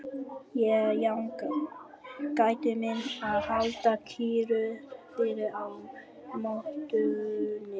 Ég jánka, gæti mín að halda kyrru fyrir á mottunni.